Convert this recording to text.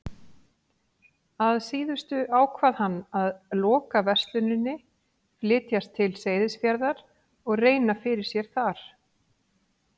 Að síðustu ákvað hann að loka versluninni, flytjast til Seyðisfjarðar og reyna fyrir sér þar.